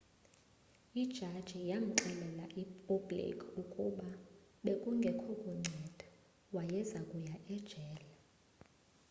ijaji yamxelela u-blake ukuba bekungekho kunceda wayezakuya ejele